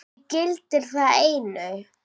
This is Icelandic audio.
Mig gildir það einu.